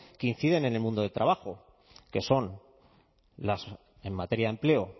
que inciden en el mundo del trabajo que son en materia de empleo